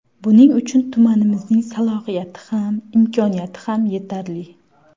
Buning uchun tumanimizning salohiyati ham, imkoniyati ham yetarli.